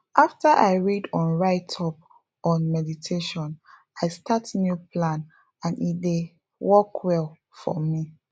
after i read on write up on meditation i start new plan and e dey work well for me